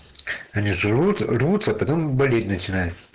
они живут рвутся потом болеть начинают